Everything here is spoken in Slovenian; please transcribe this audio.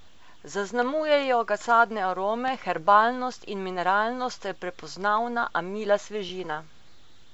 Zaznamujejo ga sadne arome, herbalnost in mineralnost ter prepoznavna, a mila svežina.